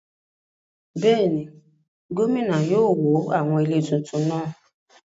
Bẹ́ẹ̀ni, gómìnà yóò wó àwọn ilé tuntun náà